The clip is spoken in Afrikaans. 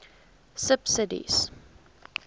subsidies